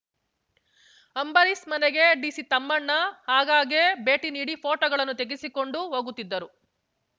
ಅಂಬರೀಶ್ ಮನೆಗೆ ಡಿಸಿ ತಮ್ಮಣ್ಣ ಆಗಾಗ್ಗೆ ಭೇಟಿ ನೀಡಿ ಫೋಟೋಗಳನ್ನು ತೆಗೆಸಿಕೊಂಡು ಹೋಗುತ್ತಿದ್ದರು